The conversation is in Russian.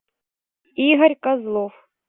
игорь козлов